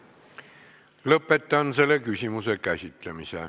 Lõpetan selle küsimuse käsitlemise.